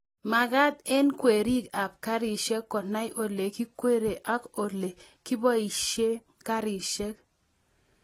magat eng kwerik ab karishek konai ole kikwerie ak ole kiboishe garishek